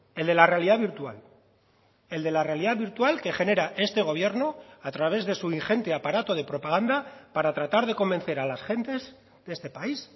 el de la realidad virtual el de la realidad virtual que genera este gobierno a través de su ingente aparato de propaganda para tratar de convencer a las gentes de este país